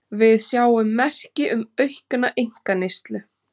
Við sjáum merki um aukna einkaneyslu